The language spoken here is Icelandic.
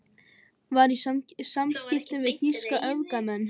Var í samskiptum við þýska öfgamenn